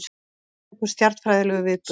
Einstakur stjarnfræðilegur viðburður